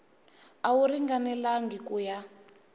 a wu ringanelangi ku ya